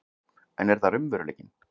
En er það raunveruleikinn?